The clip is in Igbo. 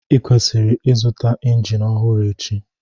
Ịkwesịrị ịzụta injin ọhụrụ echi..